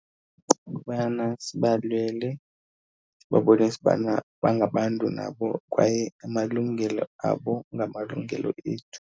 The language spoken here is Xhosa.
Kukubana sibalwele, sibabonise ubana bangabantu nabo kwaye amalungelo abo ngamalungelo ethu.